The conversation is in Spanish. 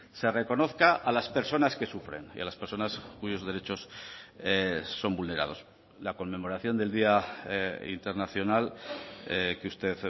se reconozca a las personas que sufren y a las personas cuyos derechos son vulnerados la conmemoración del día internacional que usted